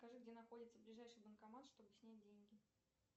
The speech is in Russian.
скажи где находится ближайший банкомат чтобы снять деньги